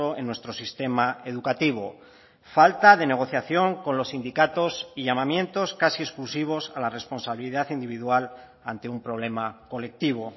en nuestro sistema educativo falta de negociación con los sindicatos y llamamientos casi exclusivos a la responsabilidad individual ante un problema colectivo